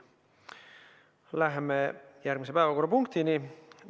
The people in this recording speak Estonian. Läheme järgmise päevakorrapunkti juurde.